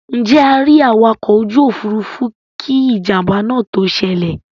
Ǹjẹ́ a rí awakọ̀ ojú òfuurufú kí ìjàmbá náà tó ṣẹlẹ̀?